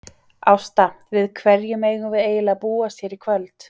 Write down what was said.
Ásta, við hverju megum við eiginlega búast hér í kvöld?